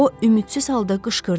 O ümidsiz halda qışqırdı.